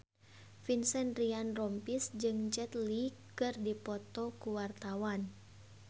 Vincent Ryan Rompies jeung Jet Li keur dipoto ku wartawan